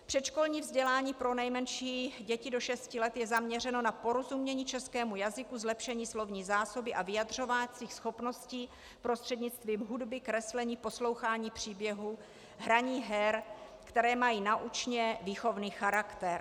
Předškolní vzdělání pro nejmenší děti do 6 let je zaměřeno na porozumění českému jazyku, zlepšení slovní zásoby a vyjadřovacích schopností prostřednictvím hudby, kreslení, poslouchání příběhů, hraní her, které mají naučně-výchovný charakter.